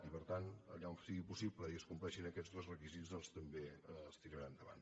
i per tant allà on sigui possible i es compleixin aquests dos requisits també es tirarà endavant